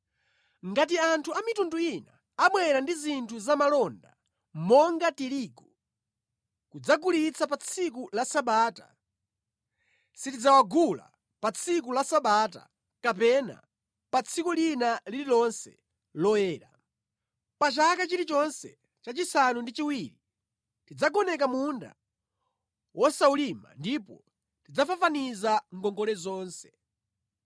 “Ngati anthu a mitundu ina abwera ndi zinthu za malonda, monga tirigu, kudzagulitsa pa tsiku la Sabata, sitidzawagula pa tsiku la Sabata kapena pa tsiku lina lililonse loyera. Pa chaka chilichonse cha chisanu ndi chiwiri tidzagoneka munda wosawulima ndipo tidzafafaniza ngongole zonse.